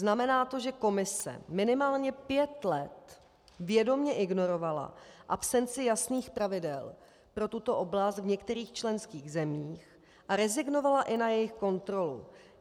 Znamená to, že Komise minimálně pět let vědomě ignorovala absenci jasných pravidel pro tuto oblast v některých členských zemích a rezignovala i na jejich kontrolu.